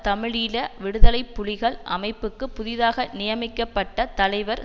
தமிழீழ விடுதலை புலிகள் அமைப்புக்கு புதிதாக நியமிகப்பட்ட தலைவர்